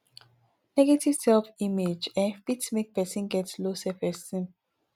negative self image um fit make person get low self esteem